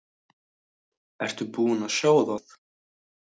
Ertu búinn að sjá það?